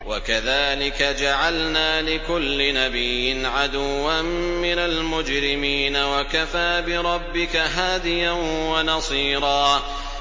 وَكَذَٰلِكَ جَعَلْنَا لِكُلِّ نَبِيٍّ عَدُوًّا مِّنَ الْمُجْرِمِينَ ۗ وَكَفَىٰ بِرَبِّكَ هَادِيًا وَنَصِيرًا